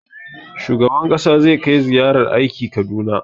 Shugaban ƙasa zai kai ziyarar aiki Kaduna.